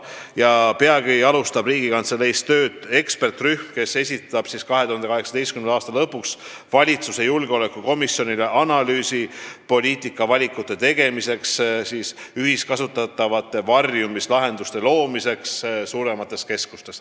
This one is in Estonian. Ja peagi alustab Riigikantseleis tööd eksperdirühm, kes esitab 2018. aasta lõpuks valitsuse julgeolekukomisjonile analüüsi, mis on aluseks poliitikavalikute tegemisel ja ühiskasutatavate varjumislahenduste kasutamisel suuremates keskustes.